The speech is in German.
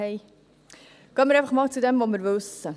Gehen wir einfach einmal zu dem, was wir wissen.